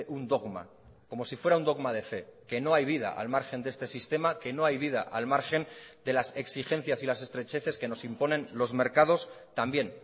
un dogma como si fuera un dogma de fe que no hay vida al margen de este sistema que no hay vida al margen de las exigencias y las estrecheces que nos imponen los mercados también